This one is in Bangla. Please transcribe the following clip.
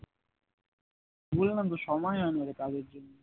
বললাম তো সময়ই হয় না রে কাজে জন্য